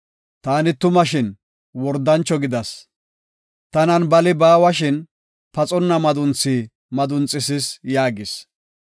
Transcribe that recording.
Taani tuma shin wordancho gidas; tanan bali baawa shin, paxonna madunthi madunxisis’ yaagis.